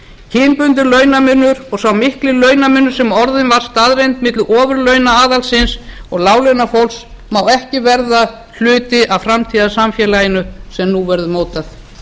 kynbundinn launamunur og sá mikli launamunur sem orðinn var staðreynd milli ofurlaunaaðalsins og láglaunafólks má ekki verða hluti af framtíðarsamfélaginu sem nú verður mótað